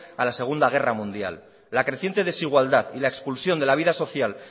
a la segunda guerra mundial la creciente desigualdad y la expulsión de la vida social